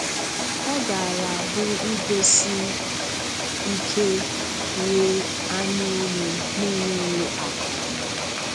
Ọ gaara abụ igosi ike ghe anya oghe na-enweghi akọ.